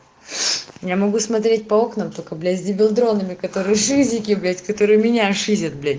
я могу смотреть по окнам только блять за дронами которые шизике блять которые меняют шизят блять